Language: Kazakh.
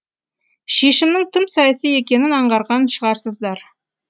шешімнің тым саяси екенін аңғарған шығарсыздар